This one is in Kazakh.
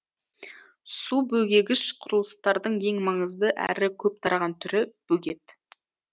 су бөгегіш құрылыстардың ең маңызды әрі көп тараған түрі бөгет